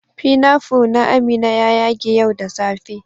"Pinafore" na Amina ya ƴage ƴau da safe.